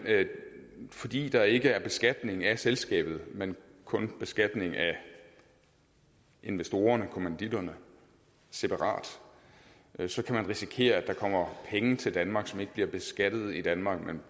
jamen fordi der ikke er beskatning af selskabet men kun beskatning af investorerne kommanditterne separat så kan man risikere at der kommer penge til danmark som ikke bliver beskattet i danmark men